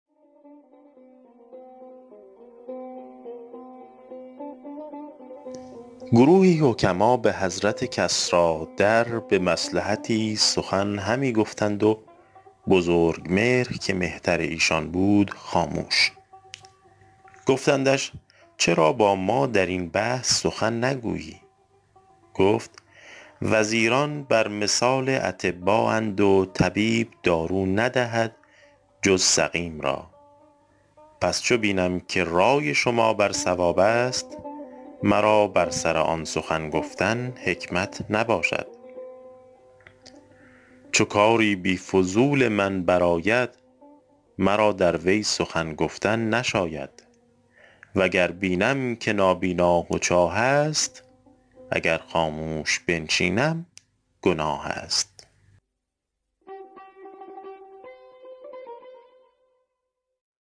گروهی حکما به حضرت کسریٰ در به مصلحتی سخن همی گفتند و بزرگمهر که مهتر ایشان بود خاموش گفتندش چرا با ما در این بحث سخن نگویی گفت وزیران بر مثال اطبااند و طبیب دارو ندهد جز سقیم را پس چو بینم که رای شما بر صواب است مرا بر سر آن سخن گفتن حکمت نباشد چو کاری بی فضول من بر آید مرا در وی سخن گفتن نشاید و گر بینم که نابینا و چاه است اگر خاموش بنشینم گناه است